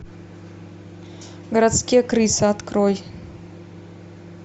городские крысы открой